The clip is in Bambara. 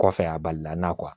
Kɔfɛ a balila n'a